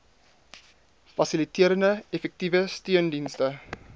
fasiliterende effektiewe steundienste